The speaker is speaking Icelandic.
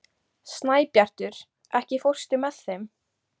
Snæbjartur, ekki fórstu með þeim?